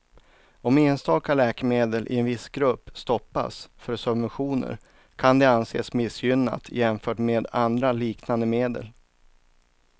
Om enstaka läkemedel i en viss grupp stoppas för subventioner kan det anses missgynnat jämfört med andra liknande medel.